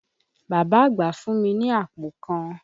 Bàbá àgbà fún mi ni àpò kan.